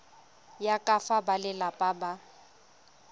ya ka fa balelapa ba